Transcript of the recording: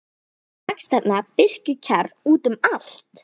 Svo vex þarna birkikjarr út um allt.